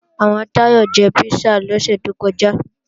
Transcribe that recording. Àwọn Táyọ̀ jẹ písà lọ́sẹ̀ tó kọjá